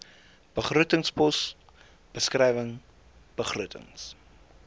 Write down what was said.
begrotingspos beskrywing begrotings